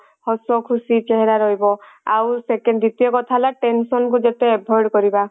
ହସ ଖୁସି ଚେହେରା ରହିବ ଆଉ second ଦ୍ଵିତୀୟ କଥା ହେଲା tension କୁ ଯେତେ avoid କରିବା